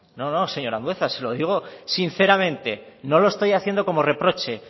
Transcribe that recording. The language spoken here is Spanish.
no no señor andueza se lo digo sinceramente no lo estoy haciendo como reproche